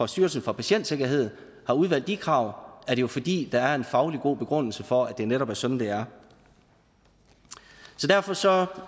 styrelsen for patientsikkerhed har udvalgt de krav er det jo fordi der er en fagligt god begrundelse for at det netop er sådan det er så derfor ser